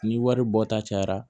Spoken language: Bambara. Ni wari bɔ ta cayara